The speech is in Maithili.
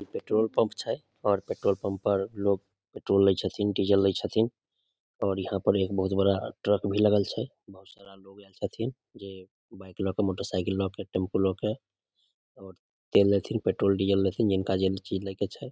इ पेट्रोल पम्प छै और पेट्रोल पम्प पर लोग पेट्रोल लेय छथिन डीजल ले छथिन और यहाँ पर एक बहुत बड़ा ट्रक भी लगल छे बहुत सारा लोग यहाँ छथिन जे ल क मोटर साइकिल ल क टेम्पू ल के और तेल लेथिन पेट्रोल डीजल लेथिन जिनका जे चीज लेके छै